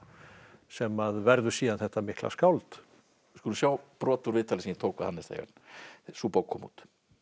sem verður síðan þetta mikla skáld við skulum sjá brot úr viðtali sem ég tók við Hannes þegar sú bók kom út